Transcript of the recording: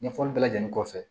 Ɲɛfɔli bɛɛ lajɛlen kɔfɛ